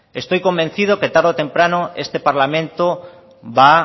estoy convencido que tarde o temprano este parlamento va